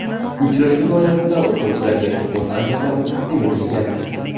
Uchrashuv doirasida o‘quvchilarga sport anjomlari taqdim etilgan.